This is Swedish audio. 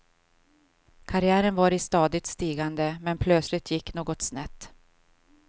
Karriären var i stadigt stigande, men plötsligt gick något snett.